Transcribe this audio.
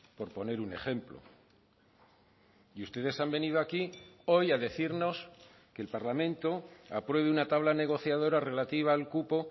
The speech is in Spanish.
por poner un ejemplo y ustedes han venido aquí hoy a decirnos que el parlamento apruebe una tabla negociadora relativa al cupo